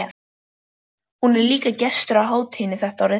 Hún er líka gestur á hátíðinni þetta árið.